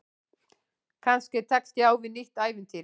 Kannski tekst ég á við nýtt ævintýri.